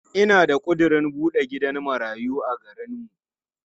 Ina da ƙudirin buɗe gidan marayu a garinmu.